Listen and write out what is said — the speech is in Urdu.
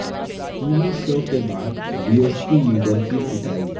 ٹی وی شوکے بعد بی ایس پی لیڈر کی پٹائی